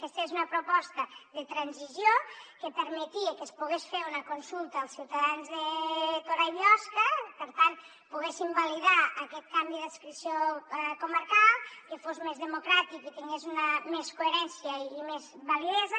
aquesta és una proposta de transició que permetia que es pogués fer una consulta als ciutadans de torà i biosca per tant que poguessin validar aquest canvi d’adscripció comarcal que fos més democràtic i tingués més coherència i més validesa